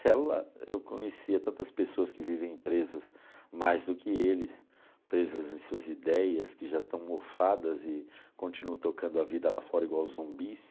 Cela eu conhecia tantas pessoas que vivem presas mais do que eles, presas em suas ideias que já estão mofadas e continuam tocando a vida lá fora igual zumbis.